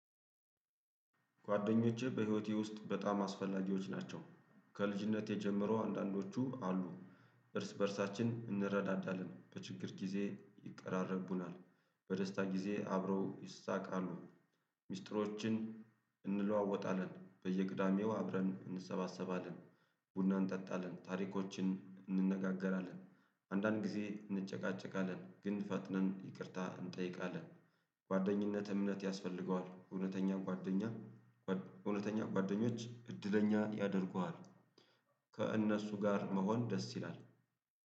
ጓደኞቼ በህይወቴ ውስጥ በጣም አስፈላጊዎች ናቸው። ከልጅነቴ ጀምሮ አንዳንዶቹ አሉ። እርስ በእርሳችን እንረዳዳለን በችግር ጊዜ ይቀራረቡናል። በደስታ ጊዜ አብረው ይሳቃሉ። ሚስጥሮችን እንለዋወጣለን በየቅዳሜው አብረን እንሰባሰባለን። ቡና እንጠጣለን ታሪኮችን እንነጋገራለን አንዳንድ ጊዜ እንጨቃጨቃለን ግን ፈጥነን ይቅርታ እንጠይቃለን። ጓደኝነት እምነት ያስፈልገዋል እውነተኛን ጓደኛ እውነተኛ ጓደኞች እድለኛ ያደርጉሃል። ከእነሱ ጋር መሆን ደስ ይላል